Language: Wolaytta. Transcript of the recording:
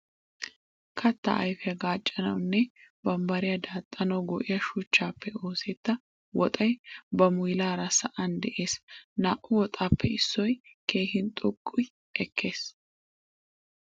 Kattaa ayfiya gaaccanawu nne bambbariya daaxxanawu go''iya shuchchaappe oosetta woxay ba muylaara sa'an de'es. Naa"u woxaappe issoy keehin xoqqi ekkes.